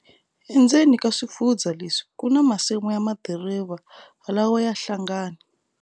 Endzeni ka swifundzha leswi kuna masimu ya madiriva lawa ya hlangani.